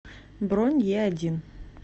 бронь еодин